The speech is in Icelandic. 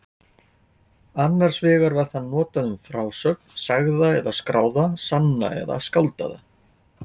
Annars vegar var það notað um frásögn, sagða eða skráða, sanna eða skáldaða.